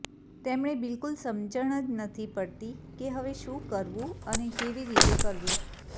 તેમને બિલકુલ સમજણ જ નથી પડતી કે હવે શું કરવું અને કેવી રીતે કરવું